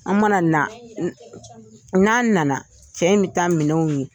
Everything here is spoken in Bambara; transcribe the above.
An mana na n'an nana cɛ in bɛ taa minɛnw